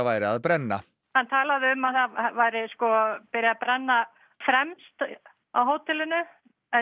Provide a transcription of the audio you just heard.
væri að brenna hann talaði um að það væri byrjað að brenna fremst á hótelinu